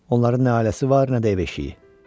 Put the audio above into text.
Onların nə ailəsi var, nə də ev eşiyi.